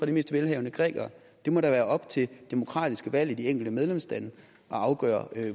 de mest velhavende grækere det må da være op til de demokratisk valgte i de enkelte medlemslande at afgøre